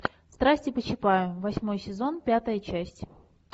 страсти по чапаю восьмой сезон пятая часть